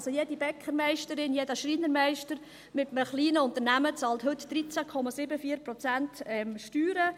Also jede Bäckermeisterin, jeder Schreinermeister mit einem kleinen Unternehmen bezahlt heute 13,74 Prozent Steuern.